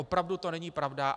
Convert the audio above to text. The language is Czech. Opravdu to není pravda.